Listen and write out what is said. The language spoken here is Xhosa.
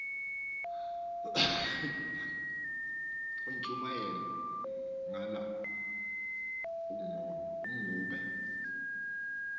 intshumayelo qala ugobe